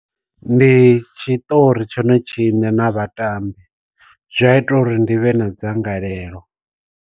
Ndi tshiṱori tshone tshiṋe na vhatambi zwi a ita uri ndi vhe na dzangalelo.